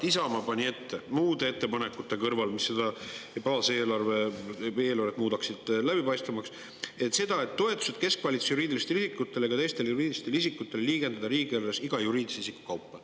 Isamaa pani muude ettepanekute kõrval, mis muudaksid eelarvet läbipaistvamaks, ette, et toetused keskvalitsuse juriidilistele isikutele ja teistele juriidilistele isikutele võiks liigendada riigieelarves iga juriidilise isiku kaupa.